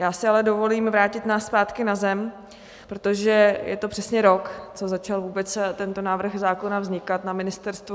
Já si ale dovolím vrátit nás zpátky na zem, protože je to přesně rok, co začal vůbec tento návrh zákona vznikat na ministerstvu.